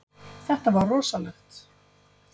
Þetta var rosalegt.